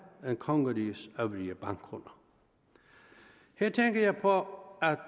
end kongerigets øvrige bankkunder her tænker jeg på at